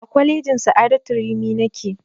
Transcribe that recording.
A kwalejin sa'adatu rimi nake